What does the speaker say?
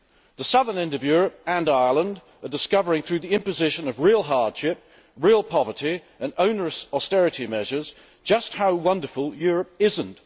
The southern end of Europe and Ireland are discovering, through the imposition of real hardship, real poverty and onerous austerity measures, just how wonderful Europe isn't.